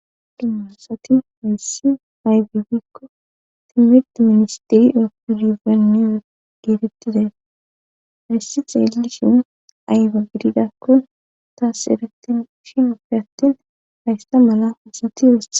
dummasati meyssi aybibikko timid ministiri epurizenne o geerettidee hayssi xeelli shin ayba gididakkon taas erettin shin opfe attin hayssa mala husati yose